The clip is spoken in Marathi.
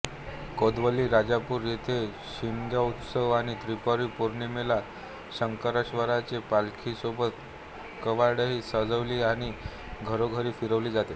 कोदवली राजापूर येथे शिमगोत्सवात आणि त्रिपुरी पौर्णिमेला शंकरेश्वराच्या पालखीसोबत कावडही सजवली आणि घरोघरी फिरवली जाते